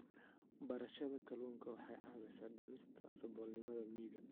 Beerashada kalluunka waxay caawisaa dhimista saboolnimada miyiga.